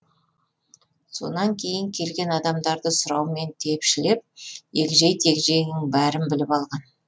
сонан кейін келген адамдарды сұраумен тепшілеп егжей тегжейінің бәрін біліп алды